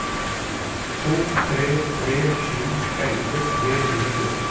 to tre tre sju elleve tre hundre og fjorten